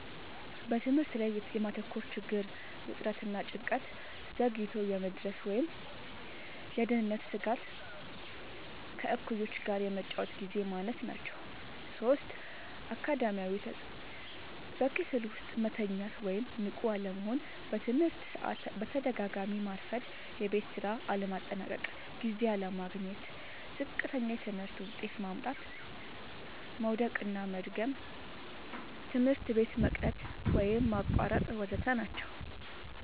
በትምህርት ላይ የማተኮር ችግር፣ ውጥረት እና ጭንቀት፣ ዘግይቶ የመድረስ ወይም የደህንነት ስጋት፣ ከእኩዮች ጋር የመጫወቻ ግዜ ማነስ ናቸዉ። ፫. አካዳሚያዊ ተጽዕኖዎች፦ · በክፍል ውስጥ መተኛት ወይም ንቁ አለመሆን፣ በትምህርት ሰዓት በተደጋጋሚ ማርፈድ፣ የቤት ስራ ለማጠናቀቅ ጊዜ አለማግኘት፣ ዝቅተኛ የትምህርት ውጤት ማምጣት፣ መዉደቅና መድገም፣ ትምህርት ቤት መቅረት ወይም ማቋረጥ ወ.ዘ.ተ ናቸዉ።